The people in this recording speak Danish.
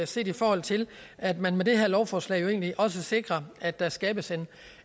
set i forhold til at man med det her lovforslag jo egentlig også sikrer at der skabes